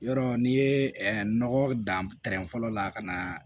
Yɔrɔ n'i ye nɔgɔ dan fɔlɔ la ka na